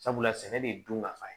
Sabula sɛnɛ de dun ka fa